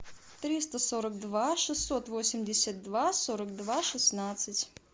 триста сорок два шестьсот восемьдесят два сорок два шестнадцать